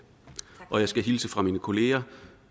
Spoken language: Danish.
og jeg skal hilse fra mine kolleger